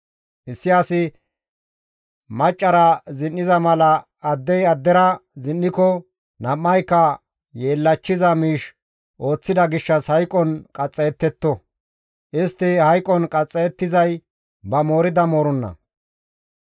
« ‹Issi asi maccara zin7iza mala addey addera zin7iko nam7ayka yeellachchiza miish ooththida gishshas hayqon qaxxayettetto; istti hayqon qaxxayettizay ba moorida mooronna.